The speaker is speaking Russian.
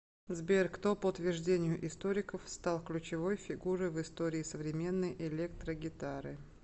сбер кто по утверждению историков стал ключевой фигурой в истории современной электрогитары